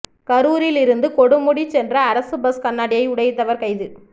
கரூரில் இருந்து கொடுமுடி சென்ற அரசு பஸ் கண்ணாடியை உடைத்தவர் கைது